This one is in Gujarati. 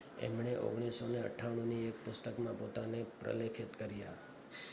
એમણે 1998 ની એક પુસ્તકમાં પોતાને પ્રલેખિત કર્યા